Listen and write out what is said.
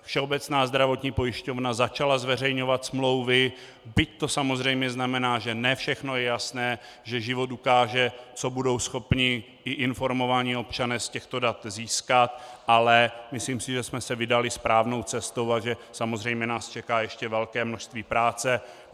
Všeobecná zdravotní pojišťovna začala zveřejňovat smlouvy, byť to samozřejmě znamená, že ne všechno je jasné, že život ukáže, co budou schopni i informovaní občané z těchto dat získat, ale myslím si, že jsme se vydali správnou cestou a že samozřejmě nás čeká ještě velké množství práce.